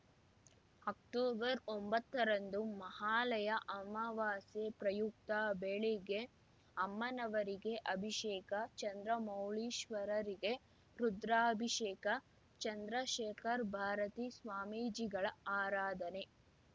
ಅಕ್ಟೊಬರ್ಒಂಬತ್ತರಂದು ಮಹಾಲಯ ಅಮಾವಾಸ್ಯೆ ಪ್ರಯುಕ್ತ ಬೆಳಿಗ್ಗೆ ಅಮ್ಮನವರಿಗೆ ಅಭಿಷೇಕ ಚಂದ್ರಮೌಳೀಶ್ವರರಿಗೆ ರುದ್ರಾಭಿಷೇಕ ಚಂದ್ರಶೇಖರ್ ಭಾರತೀ ಸ್ವಾಮೀಜಿಗಳ ಆರಾಧನೆ